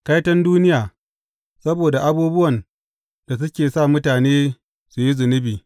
Kaiton duniya saboda abubuwan da suke sa mutane su yi zunubi!